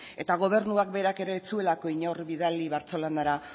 eta gobernuak berak ere ez zuelako inor bidali bartzelonara